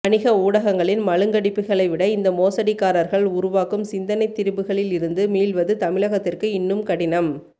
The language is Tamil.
வணிக ஊடகங்களின் மழுங்கடிப்புகளை விட இந்த மோசடிக்காரர்கள் உருவாக்கும் சிந்தனைத் திரிபுகளில் இருந்து மீள்வது தமிழகத்திற்கு இன்னும் கடினம்